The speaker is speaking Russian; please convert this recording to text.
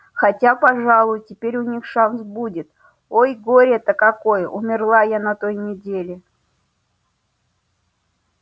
хотя пожалуй теперь у них шанс будет ой горе-то какое умерла я на той неделе